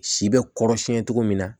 Si bɛ kɔrɔsiyɛn cogo min na